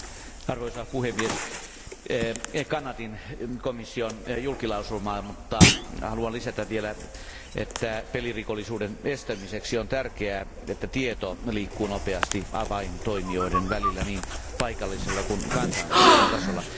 Arvoisa puhemies, kannatin komission julkilausumaa, mutta haluan lisätä vielä, että pelirikollisuuden estämiseksi on tärkeää, että tieto liikkuu nopeasti avaintoimijoiden välillä niin paikallisella kuin kansainvälisellä tasolla.